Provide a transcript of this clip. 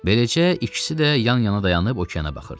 Beləcə ikisi də yan-yana dayanıb okeana baxırdı.